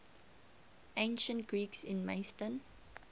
ancient greeks in macedon